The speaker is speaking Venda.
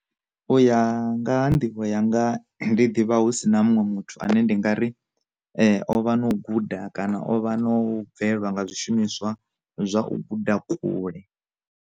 U ya nga ha nḓivho yanga ndi ḓivha husina muṅwe muthu ane ndi nga ri ovha no guda kana o vha no bvelwa nga zwishumiswa zwa u guda kule.